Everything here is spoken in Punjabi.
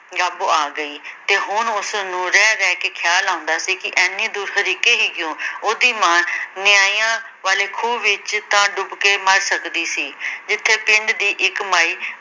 ਗਾਬੋ ਆ ਗਈ ਤੇ ਹੁਣ ਉਸਨੂੰ ਰਹਿ ਰਹਿ ਕੇ ਇਹ ਖ਼ਿਆਲ ਆਉਂਦਾ ਸੀ ਕਿ ਏਨੀਂ ਦੂਰ ਹਰੀਕੇ ਹੀ ਕਿਉਂ ਉਹਦੀ ਮਾਂ ਨਿਆਈਆਂ ਵਾਲੇ ਖੂਹ ਵਿੱਚ ਤਾਂ ਡੁੱਬ ਕੇ ਮਰ ਸਕਦੀ ਸੀ ਜਿੱਥੇ ਪਿੰਡ ਦੀ ਇੱਕ ਮਾਈ